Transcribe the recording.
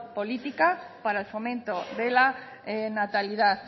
política para el fomento de la natalidad